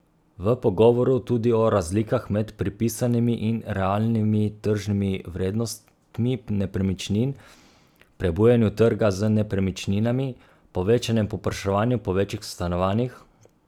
V pogovoru tudi o razlikah med pripisanimi in realnimi tržnimi vrednostmi nepremičnin, prebujanju trga z nepremičninami, povečanem povpraševanju po večjih stanovanjih ...